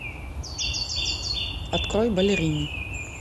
открой балерина